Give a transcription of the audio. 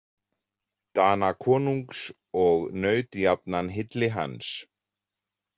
Danakonungs, og naut jafnan hylli hans.